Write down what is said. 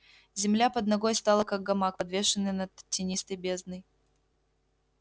земля под ногой стала как гамак подвешенный над тинистой бездной